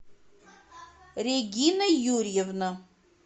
регина юрьевна